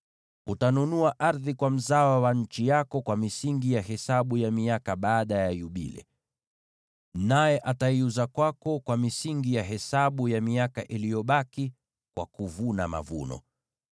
Utanunua ardhi kwa mzawa wa nchi yako kwa misingi ya hesabu ya miaka baada ya Yubile. Naye ataiuza kwako kwa misingi ya hesabu ya miaka iliyobaki kwa kuvuna mavuno.